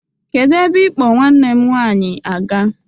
Kedụ ebe ị kpọ nwanne m nwaanyi -aga?